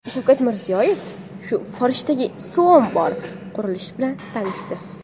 Shavkat Mirziyoyev Forishdagi suv ombori qurilishi bilan tanishdi.